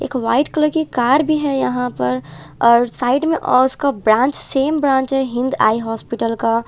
एक white colour की car भी है यहां पर और साइड में अ उसका ब्रांच सेम ब्रांच है हिंद आई हॉस्पिटल का--